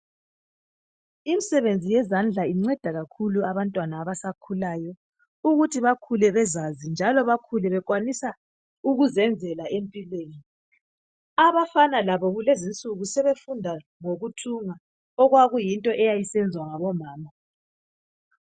Imsebenzi yezandla inceda kakhulu abantwana abasakhulayo ukuthi bakhule bezazi njalo bakhule bekwanisa ukuzenzela empilweni. Abafana labo kulezinsuku sebefunda ngokuthunga okwakuyinto eyayisenzwa ngabomama.